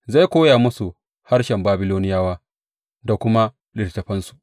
Zai koya musu harshen Babiloniyawa da kuma littattafansu.